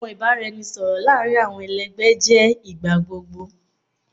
Awọn ibaraẹnisọrọ laarin awọn ẹlẹgbẹ jẹ igbagbogbo